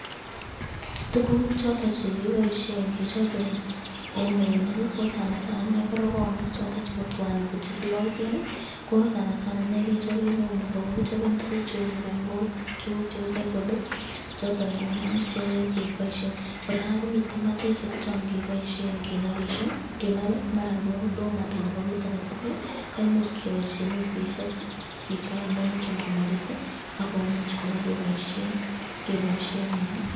Tukuk choton chekiboishen kechobe en eunek ko sana sana ineii ko rokoonik choton chebo twaa anan ko chekiyoisen ko sana sana inee kechoben eunek ak ko kichoben tukuk cheuu mukung'ok, tukuk cheuu sisal, choton ing'unon chekeboishen, kora komiten matishek chon keboishen kenobishe, kenobe maran ko domat anan ko kiit aketukul imuch keboishen usishek chito neingen kobois akomuch kora koboishen, keboishen en.